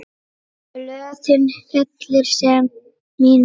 Blöðin fellir senn mín rós.